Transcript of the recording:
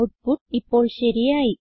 output ഇപ്പോൾ ശരിയായി